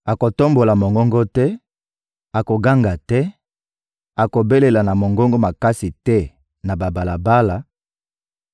akotombola mongongo te, akoganga te, akobelela na mongongo makasi te na babalabala;